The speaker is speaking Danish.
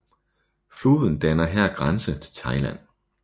Floden danner her grænse til Thailand